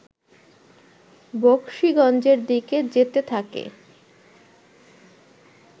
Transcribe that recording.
বকশীগঞ্জের দিকে যেতে থাকে